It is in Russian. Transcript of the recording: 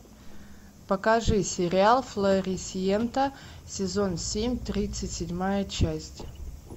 покажи сериал флорисьента сезон семь тридцать седьмая часть